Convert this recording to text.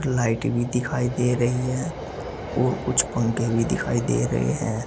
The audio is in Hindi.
लाइटें भी दिखाई दे रही हैं और कुछ पंखे भी दिखाई दे रहे हैं।